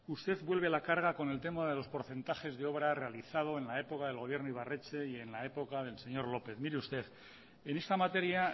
usted vuelve a la carga con el tema de los porcentajes de obra realizado en la época del gobierno ibarretxe y en la época del señor lópez mire usted en esta materia